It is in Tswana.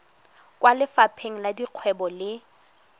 kwa lefapheng la dikgwebo le